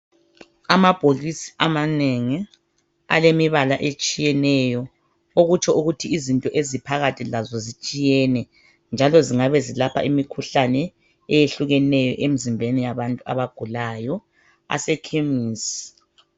Amabhokisi amanengi alemibala etshiyeneyo. Okutsho ukuthi izinto eziphakathi lazo zitshiyene njalo zingabezilapha imikhuhlane eyehlukeneyo emzimbeni yabantu abagulayo, asekhemusi.